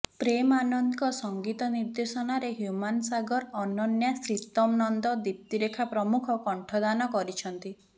ପ୍ରେମ ଆନନ୍ଦଙ୍କ ସଂଗୀତ ନିର୍ଦ୍ଦେଶନାରେ ହ୍ୟୁମାନ ସାଗର ଅନନ୍ୟା ଶ୍ରୀତମ ନନ୍ଦ ଦୀପ୍ତିରେଖା ପ୍ରମୁଖ କଣ୍ଠଦାନ କରିଛନ୍ତି